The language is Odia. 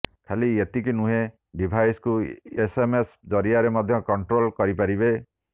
ଖାଲି ଏତିକି ନୁହେଁ ଡିଭାଇସକୁ ଏସଏମଏସ ଜରିଆରେ ମଧ୍ୟ କନଟ୍ରୋଲ କରିପାରିବେ